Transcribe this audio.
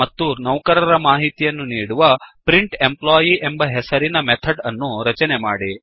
ಮತ್ತು ನೌಕರರ ಮಾಹಿತಿಯನ್ನು ನೀಡುವ ಪ್ರಿಂಟೆಂಪ್ಲಾಯಿ ಎಂಬ ಹೆಸರಿನ ಮೆಥಡ್ ಅನ್ನು ರಚನೆ ಮಾಡಿ